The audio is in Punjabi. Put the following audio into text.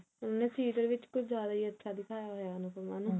ਉਹਨੂੰ serial ਵਿੱਚ ਕੁਝ ਜਿਆਦਾ ਹੀ ਅੱਛਾ ਦਿਖਾਇਆ ਹੋਇਆ ਅਨੁਪਮਾ ਨੂੰ